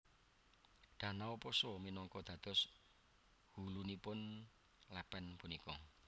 Danau Poso minangka dados hulunipun lepen punika